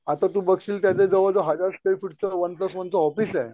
आता तू बघशील त्यांच्या जवळ हजार स्टे फूटच वन प्लस वनच ऑफीस आहे.